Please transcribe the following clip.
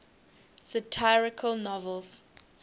satirical novels